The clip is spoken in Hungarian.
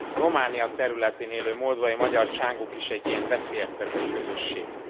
A Románia területén élő moldvai magyar csángók is egy ilyen veszélyeztetett közösség.